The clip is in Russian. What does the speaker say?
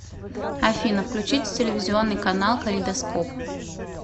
афина включите телевизионный канал калейдоскоп